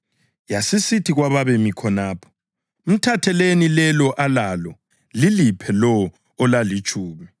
Yasisithi kwababemi khonapho, ‘Mthatheleni lelo alalo liliphe lowo olalitshumi.’